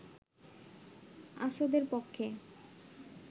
আসাদের পক্ষে